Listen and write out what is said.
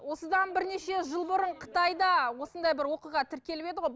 осыдан бірнеше жыл бұрын қытайда осындай бір оқиға тіркеліп еді ғой